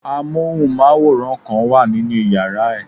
Amóhùnmáwòrán kan wà nínu yàrá ẹ̀.